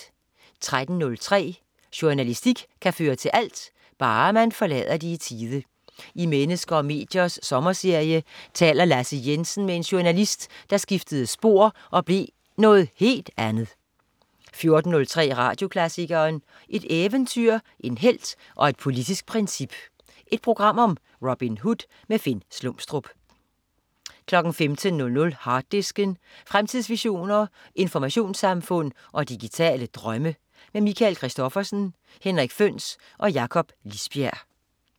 13.03 Journalistik kan føre til alt... bare man forlader det i tide. I "Mennesker og mediers" sommerserie taler Lasse Jensen med en journalist, der skiftede spor og blev noget helt andet 14.03 Radioklassikeren. Et eventyr, en helt og et politisk princip. Et program om Robin Hood. Finn Slumstrup 15.00 Harddisken. Fremtidsvisioner, informationssamfund og digitale drømme. Michael Christophersen, Henrik Føhns og Jakob Lisbjerg